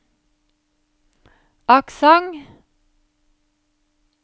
aksent